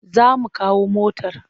Za mu kawo motar.